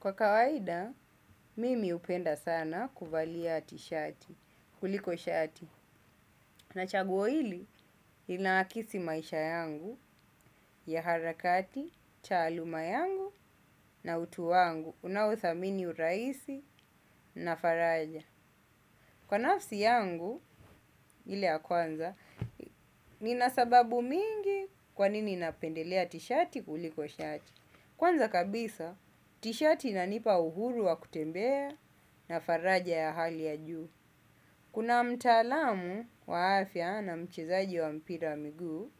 Kwa kawaida, mimi hupenda sana kuvalia tishati kuliko shati. Na chaguo hili, inaakisi maisha yangu ya harakati, taaluma yangu na utu wangu. Unaothamini uraisi na faraja. Kwa nafsi yangu, ile ya kwanza, nina sababu mingi kwa nini napendelea tishati kuliko shati. Kwanza kabisa, tishati inanipa uhuru wa kutembea na faraja ya hali ya juu. Kuna mtaalamu wa afya na mchezaji wa mpira wa miguu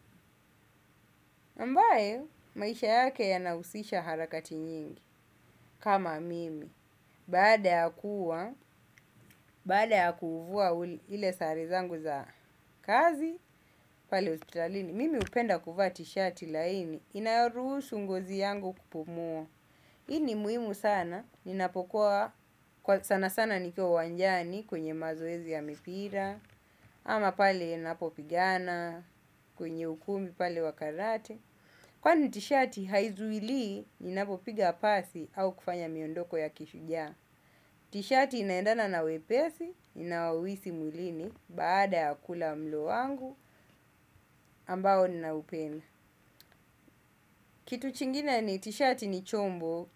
ambayo, maisha yake yanahusisha harakati nyingi kama mimi. Baada ya kuwa, baada ya kuhuvua ile sare zangu za kazi, pale hospitalini. Mimi hupenda kuva tishati laini, inayoruhusu ngozi yangu kupumua hii ni muhimu sana, ninapokuwa sana sana nikiwa uwanjani kwenye mazoezi ya mipira, ama pale napopigana, kwenye ukumbi pale wa karate. Kwani tishati haizuili, ninapopiga pasi au kufanya miondoko ya kishujaa. Tishati inaendana na wepesi, inaouhisi mwilini, baada ya kula mlo wangu, ambao ninaupenda. Kitu chingine ni tishati ni chombo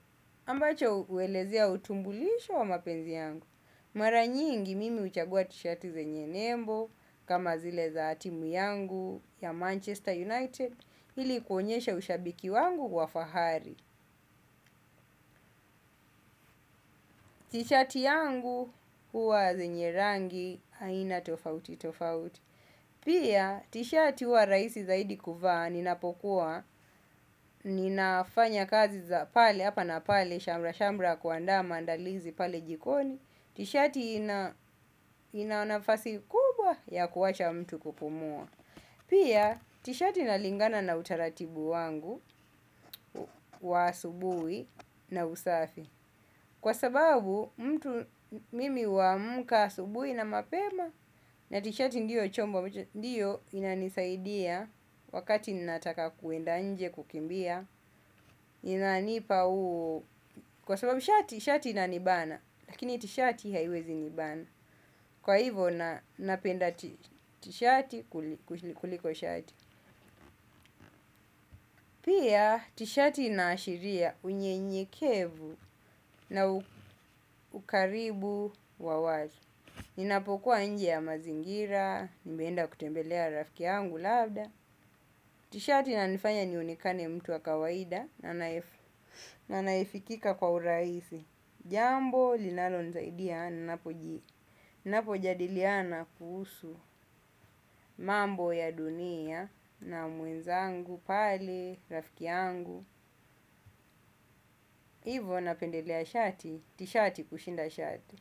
ambacho uelezea utumbulisho wa mapenzi yangu. Mara nyingi mimi huchagua tishati zenye nembo kama zile za timu yangu ya manchester united ili kuonyesha ushabiki wangu wa fahari. Tishati yangu huwa zenye rangi aina tofauti tofauti. Pia tishati huwa raisi zaidi kuvaa ninapokuwa ninafanya kazi za pale hapa na pale shamra shamra ya kuandaa maandalizi pale jikoni. Tishati ina ina nafasi kubwa ya kuacha mtu kupumua. Pia tishati inalingana na utaratibu wangu wa asubui na usafi. Kwa sababu mtu mimi huamka asubui na mapema. Na tishati ndiyo chombo ndiyo inanisaidia wakati ninataka kuenda nje kukimbia. Kwa sababu tishati inanibana lakini tishati haiwezi nibana. Kwa hivo napenda tishati kuliko shati. Pia tishati inaashiria unyenyekevu na ukaribu wa wazi. Ninapokuwa nje ya mazingira, nimeenda kutembelea rafiki yangu labda. Tishati inanifanya nionekane mtu wa kawaida na naefikika kwa uraisi. Jambo linalonisaidia na napoji. Napo jadiliana kuhusu mambo ya dunia na mwenzangu pale rafiki yangu. Hivo napendelea shati, tishati kushinda shati.